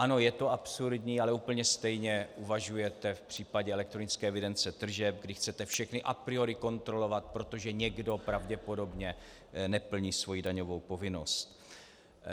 Ano, je to absurdní, ale úplně stejně uvažujete v případě elektronické evidence tržeb, kdy chcete všechny a priori kontrolovat, protože někdo pravděpodobně neplní svoji daňovou povinnost.